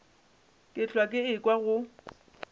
ke hlwa ke ekwa go